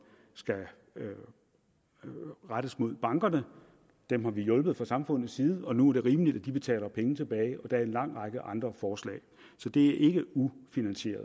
skal rettes mod bankerne dem har vi hjulpet fra samfundets side og nu er det rimeligt at de betaler penge tilbage og en lang række andre forslag så det er ikke ufinansieret